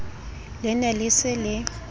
le ne le se le